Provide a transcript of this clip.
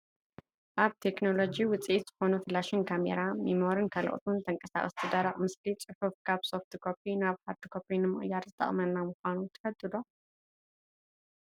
ናይ ቴክኖሎጂ ውፂኢት ዝኮኑ ፍላሽን ካሜራ፣ ሚሞሪን ካልኦትን ንተንቀሳቃሲን ደረቅን ምስሊ ፅሑፍን ካብ ሶፍቲ ኮፒ ናብ ሃርድ ኮፒ ንምቅያር ዝጠቅመና ምኳኑ ትፈልጡ ዶ?